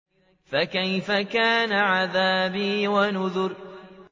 فَكَيْفَ كَانَ عَذَابِي وَنُذُرِ